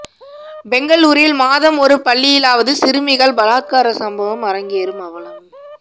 பெங்களூரில் மாதம் ஒரு பள்ளியிலாவது சிறுமிகள் பலாத்கார சம்பவம் அரங்கேறும் அவலம்